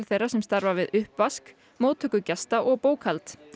þeirra sem starfa við uppvask móttöku gesta og bókhald